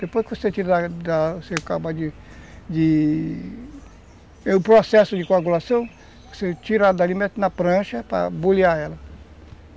Depois que você tira, acaba de...de... O processo de coagulação, você tira ela dali, mete na prancha para bulhar ela.